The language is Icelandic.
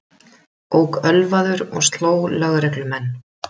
Ók ölvaður og sló lögreglumenn